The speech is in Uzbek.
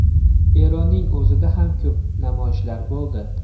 Eronning o‘zida ham ko‘p namoyishlar bo‘ldi.